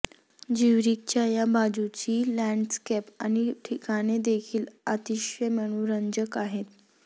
ज्यूरिखच्या या बाजूची लँडस्केप आणि ठिकाणे देखील अतिशय मनोरंजक आहेत